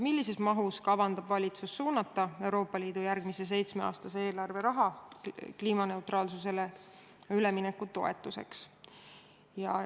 Millises mahus kavandab valitsus suunata Euroopa Liidu järgmise seitsmeaastase eelarve raha kliimaneutraalsusele ülemineku toetuseks?